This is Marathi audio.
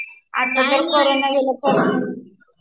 आता तर करोंना गेला